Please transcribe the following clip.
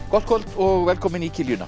gott kvöld og velkomin í